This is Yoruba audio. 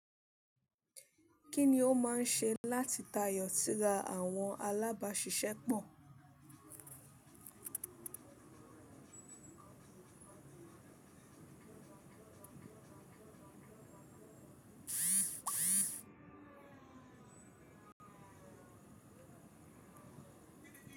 Kí ni ó máa ń ṣe láti tayọ sára àwọn alábàáṣiṣẹ́ pọ̀?